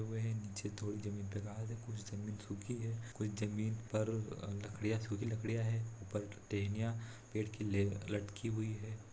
नीचे थोड़ी जमीन पर घास है थोड़ी जमीं सुखी है कोई जमीन पर लड़कियां सुखी लड़कियां है ऊपर टहनिया पेड़ की लड़की हुई है।